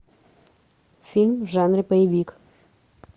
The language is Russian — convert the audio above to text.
фильм в жанре боевик